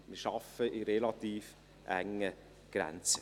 Wir arbeiten in relativ engen Grenzen.